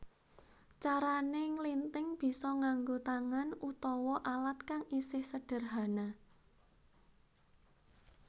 Carané nglinthing bisa nganggo tangan utawa alat kang isih sedherhana